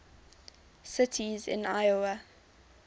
cities in iowa